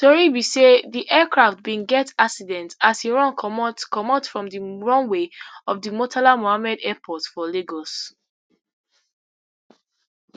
tori be say di aircraft bin get accident as e run comot comot from di runway of di murtala mohammed airport for lagos